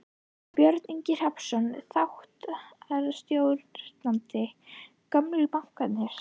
Björn Ingi Hrafnsson, þáttastjórnandi: Gömlu bankarnir?